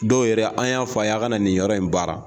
Dɔw yɛrɛ an y'a fɔ a' ye a' kana nin yɔrɔ in baara